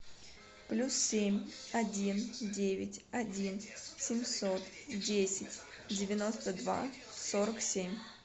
плюс семь один девять один семьсот десять девяносто два сорок семь